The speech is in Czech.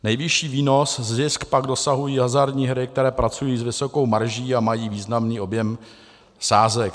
Nejvyšší výnos - zisk - pak dosahují hazardní hry, které pracují s vysokou marží a mají významný objem sázek.